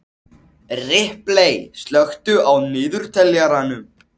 Ripley, slökktu á niðurteljaranum.